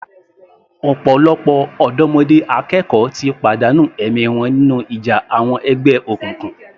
Ọ̀pọ̀lọpọ̀ ọ̀dọ́mọdé akẹ́kọ̀ọ́ ti pàdánù ẹ̀mí wọn nínú ìjà àwọn ẹgbẹ́ òkùnkùn.